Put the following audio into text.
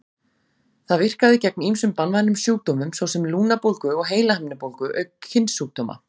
Það virkaði gegn ýmsum banvænum sjúkdómum, svo sem lungnabólgu og heilahimnubólgu, auk kynsjúkdóma.